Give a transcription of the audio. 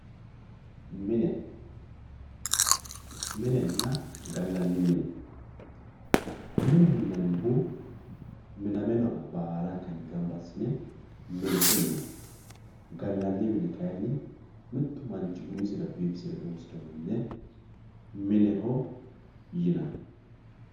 mine minenna galanni mine mineho yinanihu miname noha balanka ganba asine mineho yinanni galanni mini kayinni mittu umisirra bifisire loosirewo mine mineho yinanni